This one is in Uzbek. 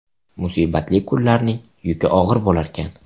Musibatli kunlarning yuki og‘ir bo‘larkan.